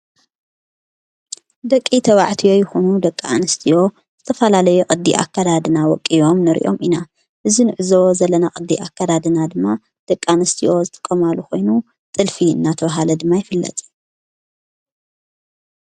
ደቂ ተባዕትዮ ይኹኑ ደቂ ኣንስትዮ ዝተፋላለዮ ቐዲኣከዳድና ወቂዮም ንርእዮም ኢና እዝ ንእዞዎ ዘለና ቐዲኣ ከዳድና ድማ ደቂ ኣንስቲዎ ዝጥቆማሉ ኾይኑ ጥልፊ እናተውሃለ ድማ ይፍለጥ።